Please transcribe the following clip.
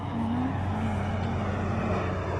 Mwana waku nĩ mwega ndarĩ na thĩna.